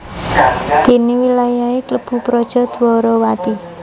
Dene wilayahe klebu Praja Dwarawati